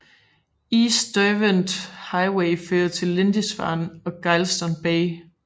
East Derwent Highway fører til Lindisfarne og Geilston Bay